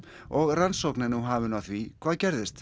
og rannsókn er nú hafin á því hvað gerðist